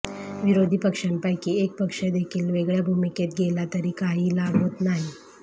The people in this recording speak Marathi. विरोधी पक्षांपैकी एक पक्षदेखील वेगळ्या भूमिकेत गेला तरी काहीही लाभ होत नाही